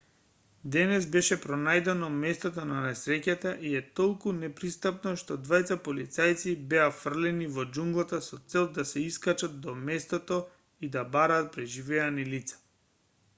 денес беше пронајдено местото на несреќата и е толку непристапно што двајца полицајци беа фрлени во џунглата со цел да се искачат до местото и да бараат преживеани лица